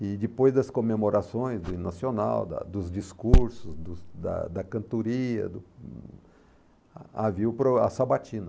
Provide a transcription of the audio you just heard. e depois das comemorações do hino nacional, da dos discursos, dos da da cantoria, a havia o pro a sabatina.